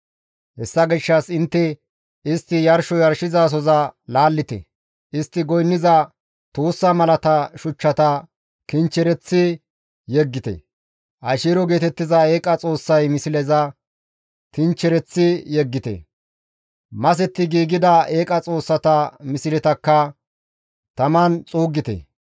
Hessa gishshas intte istti yarsho yarshizasoza laallite; istti goynniza tuussa malata shuchchata kinchchereththi yeggite; Asheero geetettiza eeqa xoossay misleza tinchchereththi yeggite; masetti giigida eeqa xoossata misletakka taman xuuggite.